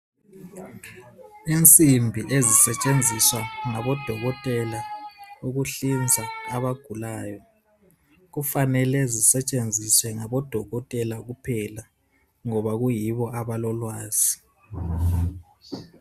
Insimbi ezisetshenziswa ngabodokotela ukuhlinza abagulayo. Kufanele zisetshenziswe ngabodokotela kuphela ngoba kuyibo abalolwazi.